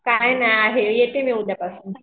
काही नाही आहे येते मी उद्यापासून